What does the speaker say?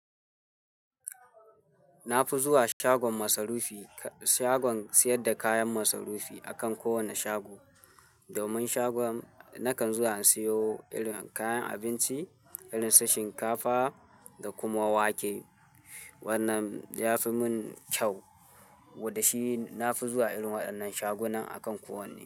Na fi zuwa shagon masarufi, shagon sayar da kayan masarufi akan kowane shago. Domin shagon nakan zuwa in siyo irin kayan abinci irin su shinkafa da kuma wake. Wannan ya fi mun kyau, wada shi na fi zuwa irin waɗannan shagunan akan kowanne.